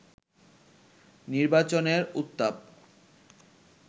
নির্বাচনের উত্তাপ